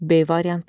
B variantı.